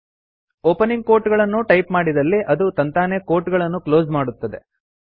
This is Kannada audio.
ಓಪನಿಂಗ್ ಕೋಟ್ಗಳನ್ನು ಟೈಪ್ ಮಾಡಿದಲ್ಲಿ ಅದು ತಂತಾನೇ ಕೋಟ್ಗಳನ್ನು ಕ್ಲೋಸ್ ಮಾಡುತ್ತದೆ